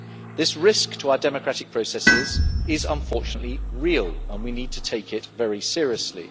This risk to our democratic processes is, unfortunately, real and we need to take it very seriously.